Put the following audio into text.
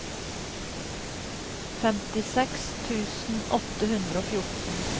femtiseks tusen åtte hundre og fjorten